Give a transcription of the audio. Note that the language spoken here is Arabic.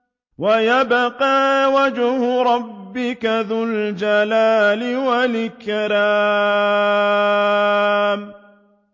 وَيَبْقَىٰ وَجْهُ رَبِّكَ ذُو الْجَلَالِ وَالْإِكْرَامِ